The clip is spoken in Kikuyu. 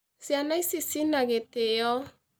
Ciana ici ci na gĩtĩo